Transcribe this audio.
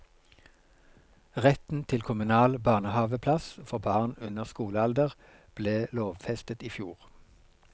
Retten til kommunal barnehaveplass for barn under skolealder ble lovfestet i fjor.